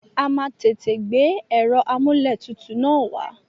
A máa tètè gbé ẹ̀rọ amúlẹ̀tutù na wá.